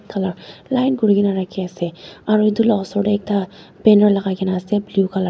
khala line kurikaena rakhiase aro edu la osor tae ekta banner lakaikaena ase blue colour .